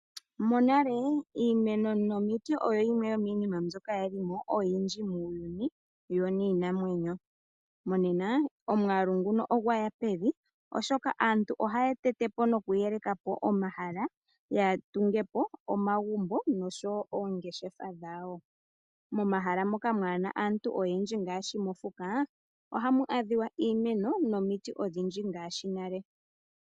Monale iimeno nomiti oyo yimwe iinima mbyoka yali mo oyindji muuyuni yo niinamwenyo. Monena omwaalu nguno ogwa ya pevi oshoka aantu ohaya tete po nokuyeleka po omahala ya tunge po omagumbo noshowo oongeshefa dhawo. Momahala moka kaamuna aantu oyendji ngaashi mokuti ohamu adhika iimeno nomiti odhindji ngaashi nale.